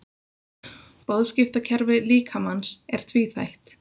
Boðskiptakerfi líkamans er tvíþætt.